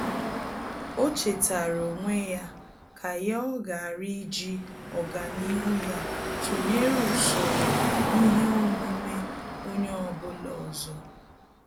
Ọ́ chètàrà onwe ya kà yá ọghara íjí ọ́gànihu ya tụnyere usoro ihe omume onye ọ bụla ọzọ.